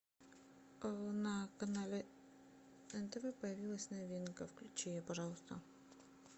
на канале нтв появилась новинка включи ее пожалуйста